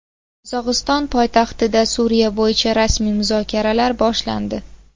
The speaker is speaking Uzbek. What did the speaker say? Qozog‘iston poytaxtida Suriya bo‘yicha rasmiy muzokaralar boshlandi .